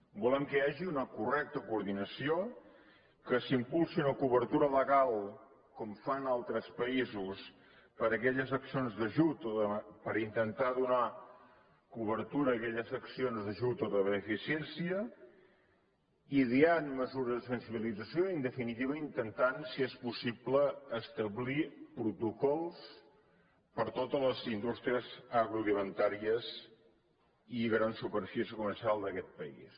volem que hi hagi una correcta coordinació que s’impulsi una cobertura legal com fan altres països per a aquelles accions d’ajut o per intentar donar cobertura a aquelles accions d’ajut o de beneficència ideant mesures de sensibilització i en definitiva intentant si és possible establir protocols per a totes les indústries agroalimentàries i grans superfícies comercials d’aquest país